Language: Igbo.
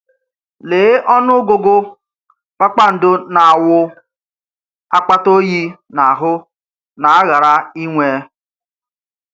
Léé ọnù̀gụ̀gụ̀ kpakpàndò na-awụ̀ àkpàtà óyì n’ahụ̀ na-àghàrà inwè!